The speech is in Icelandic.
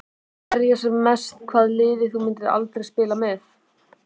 Verja sem mest Hvaða liði myndir þú aldrei spila með?